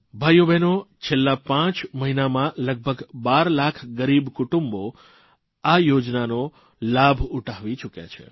ભાઇઓબહેનો છેલ્લાં પાંચ મહિનામાં લગભગ 12 લાખ ગરીબ કુટુંબો આ યોજનાનો લાભ ઉઠાવી ચૂક્યા છે